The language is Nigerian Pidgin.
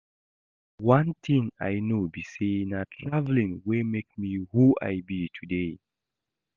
One thing I know be say na traveling wey make me who I be today